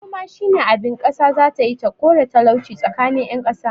Noma shine abin kasa zatayi ta kore talauci tsakanin yan kasa